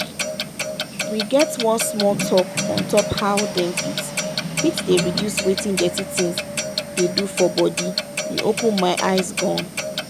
we get one small talk untop how them fit fit dey reduce wetin dirty things dey do for body e open my eyes gan.